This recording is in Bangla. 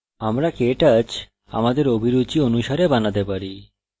আমরা কেটচ আমাদের অভিরুচি অনুসারে বানাতে পারি